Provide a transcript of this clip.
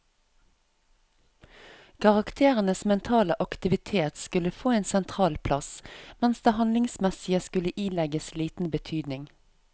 Karakterenes mentale aktivitet skulle få en sentral plass, mens det handlingsmessige skulle ilegges liten betydning.